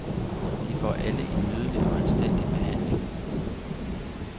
De får alle en nydelig og anstændig behandling.